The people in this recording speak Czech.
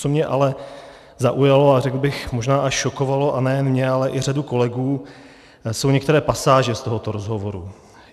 Co mě ale zaujalo a řekl bych možná až šokovalo, a nejen mě, ale i řadu kolegů, jsou některé pasáže z tohoto rozhovoru.